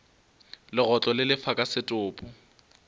legotlo le lefa ka setopo